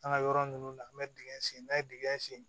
An ka yɔrɔ ninnu na an bɛ dingɛ sen n'an ye dingɛ sen